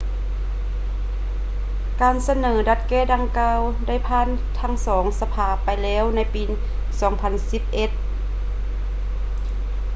ການສະເໜີດັດແກ້ດັ່ງກ່າວ ໄດ້ຜ່ານທັງສອງສະພາໄປແລ້ວໃນປີ 2011